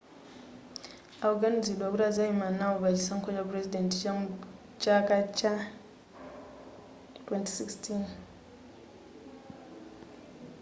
akuganiziridwa kuti azayima nawo pa chisankho cha purezidenti mucha chaka cha 2016